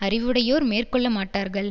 அறிவுடையோர் மேற்கொள்ள மாட்டார்கள்